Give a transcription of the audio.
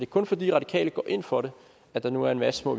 kun fordi radikale går ind for det at der nu er en masse små